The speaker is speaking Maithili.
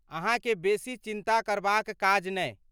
अहाँकेँ बेसी चिन्ता करबाक काज नहि!